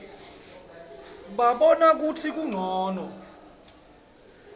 babona kutsi kuncono